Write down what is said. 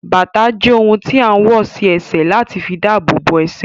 Bàtà jẹ́ ohun tí a ń wọ̀ sí ẹsẹ̀ láti fi dabobo ẹsẹ̀